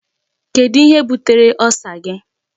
Kedụ ihe butere Ulcer gị?